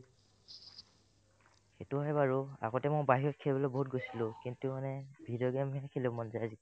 সেটো হয় বাৰু আগতে মই বাহিৰত খেলিবলৈ বহুত গৈছিলো কিন্তু মানে video game হে খেলিব মন যায় আজিকালি